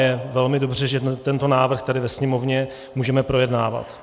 Je velmi dobře, že tento návrh tady ve Sněmovně můžeme projednávat.